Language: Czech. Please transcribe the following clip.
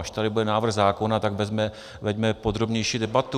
Až tady bude návrh zákona, tak veďme podrobnější debatu.